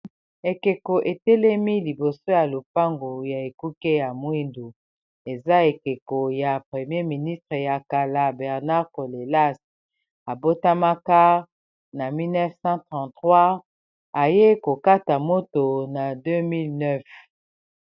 ekeko etelemi liboso ya lopangu ya ekuke ya mwindu eza ekeko ya premier ministre ya kala bernard colelas abotamaka na 1933 aye kokata moto na 2009